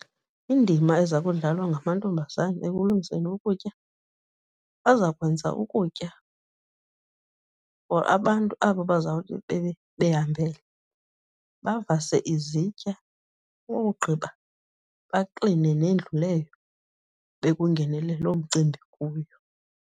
Indima eza kudlalwa ngamantombazana ekulungiseni ukutya, bazakwenza ukutya for abantu aba bazawube behambele, bavase izitya, bowugqiba bakline nendlu leyo bekungenele loo mcimbi kuyo.